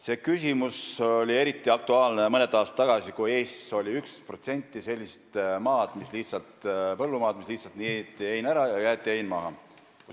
See küsimus oli eriti aktuaalne mõned aastad tagasi, kui Eestis oli 11% sellist põllumaad, kus hein lihtsalt niideti ära ja jäeti maha.